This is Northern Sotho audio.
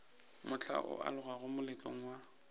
mohla o alogago moletlong wa